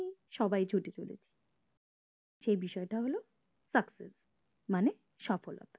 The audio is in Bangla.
সবাই ছুটে চলেছি সেই বিষয়টা লহো success মানে সফলতা